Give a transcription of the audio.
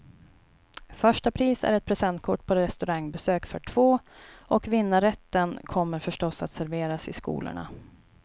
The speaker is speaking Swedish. Första pris är ett presentkort på restaurangbesök för två, och vinnarrätten kommer förstås att serveras i skolorna.